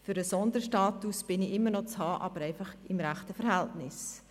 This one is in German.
Für einen Sonderstatus bin ich immer noch zu haben, aber einfach im richtigen Verhältnis.